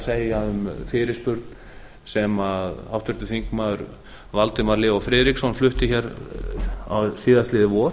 segja um fyrirspurn sem háttvirtur þingmaður valdimar leó friðriksson flutti hér síðastliðið vor